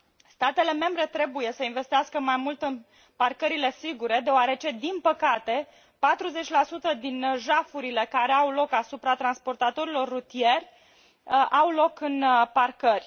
Statele membre trebuie să investească mai mult în parcările sigure deoarece, din păcate, 40 din jafurile care au loc asupra transportatorilor rutieri au loc în parcări.